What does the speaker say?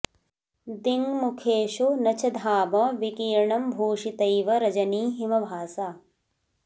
दिङ्मुखेषु न च धाम विकीर्णं भूषितैव रजनी हिमभासा